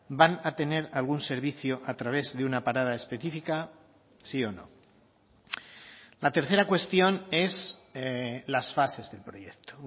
van a tener algún servicio a través de una parada específica sí o no la tercera cuestión es las fases del proyecto